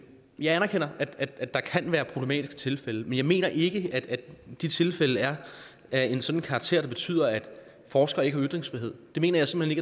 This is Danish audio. jeg anerkender at der kan være problematiske tilfælde men jeg mener ikke at de tilfælde er af en sådan karakter at det betyder at forskere ikke har ytringsfrihed det mener jeg simpelt